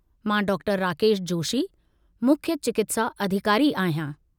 मां डॉ. राकेश जोशी, मुख्य चिकित्सा अधिकारी आहियां।